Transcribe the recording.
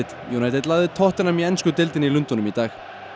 United lagði tottenham í í Lundúnum í dag